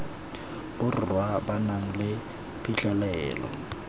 borwa ba nang le phitlhelelo